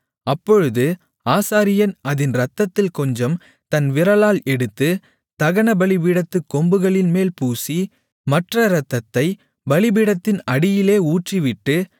அப்பொழுது ஆசாரியன் அதின் இரத்தத்தில் கொஞ்சம் தன் விரலால் எடுத்து தகனபலிபீடத்துக் கொம்புகளின்மேல் பூசி மற்ற இரத்தத்தை பலிபீடத்தின் அடியிலே ஊற்றிவிட்டு